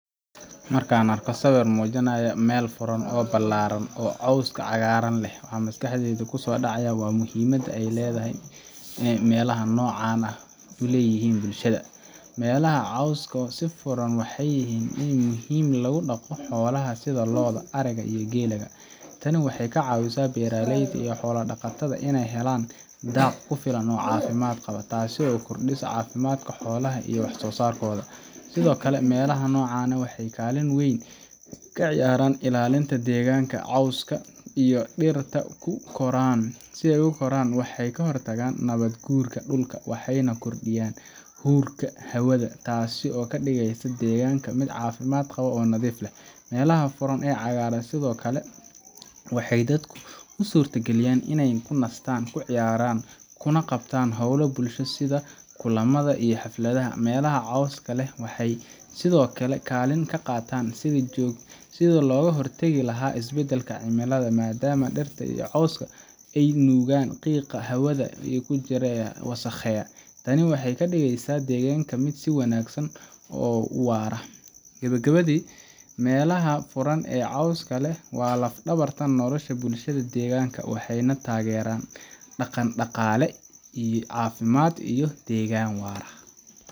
Marka aan arko sawir muujinaya meel furan oo ballaaran oo cawska cagaaran leh, waxa maskaxdayda ku soo dhacaya muhiimadda ay meelaha noocan ah u leeyihiin bulshada. Meelaha cawska leh ee furan waxay yihiin il muhiim ah oo lagu dhaqo xoolaha sida lo’da, ariga, iyo geelka. Tani waxay ka caawisaa beeralayda iyo xoolo-dhaqatada inay helaan daaq ku filan oo caafimaad qaba, taasoo kordhisa caafimaadka xoolaha iyo wax soo saarkooda. Sidoo kale, meelaha noocan ah waxay kaalin weyn ka ciyaaraan ilaalinta deegaanka. Cawska iyo dhirta ku koray waxay ka hortagaan nabaad-guurka dhulka, waxayna kordhiyaan huurka hawada, taasoo ka dhigaysa deegaanka mid caafimaad qaba oo nadiif ah. Meelaha furan ee cagaaran sidoo kale waxay dadka u suurtageliyaan inay ku nastaan, ku ciyaaraan, kuna qabtaan hawlo bulsho sida kulamada iyo xafladaha. Meelaha cawska leh waxay sidoo kale kaalin ka qaataan sidii looga hortagi lahaa isbedelka cimilada, maadaama dhirta iyo cawska ay nuugaan qiiqa hawada ku jira ee wasakheeya. Tani waxay ka dhigaysaa deegaanka mid sii wanaagsan oo waara. Gebogebadii, meelaha furan ee cawska leh waa laf-dhabarta nolosha bulshada deegaanka, waxayna taageeraan dhaqan-dhaqaale, caafimaad, iyo deegaan waara.